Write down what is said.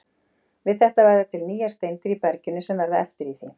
Við þetta verða til nýjar steindir í berginu sem verða eftir í því.